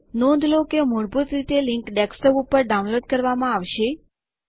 નોંધ લો કે મૂળભૂત રીતે લીંક ડેસ્કટોપ ઉપર ડાઉનલોડ કરવામાં આવશે